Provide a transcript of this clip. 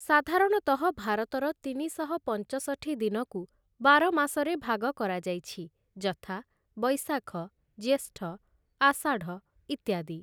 ସାଧାରଣତଃ ଭାରତର ତିନିଶହ ପଞ୍ଚଷଠି ଦିନକୁ ବାର ମାସରେ ଭାଗ କରାଯାଇଛି ଯଥା ବୈଶାଖ, ଜ୍ୟେଷ୍ଠ, ଅଷାଢ଼ ଇତ୍ୟାଦି ।